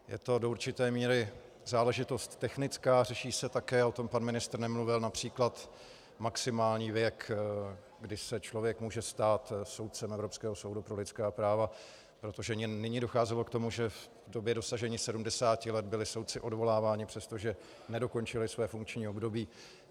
Je to do určité míry záležitost technická, řeší se také - o tom pan ministr nemluvil - například maximální věk, kdy se člověk může stát soudcem Evropského soudu pro lidská práva, protože nyní docházelo k tomu, že v době dosažení 70 let byli soudci odvoláváni, přestože nedokončili své funkční období.